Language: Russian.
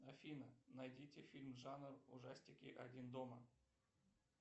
афина найдите фильм жанр ужастики один дома